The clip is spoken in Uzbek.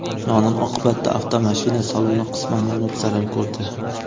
Yong‘in oqibatida avtomashina saloni qisman yonib, zarar ko‘rdi.